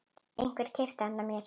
Einhver keypti handa mér